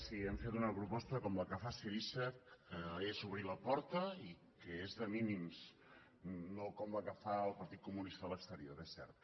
sí hem fet una proposta com la que fa syriza que és obrir la porta i que és de mínims no com la que fa el partit comunista a l’exterior és cert